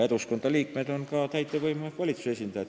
Eduskunna liikmed on ka täitevvõimu ehk valitsuse esindajad.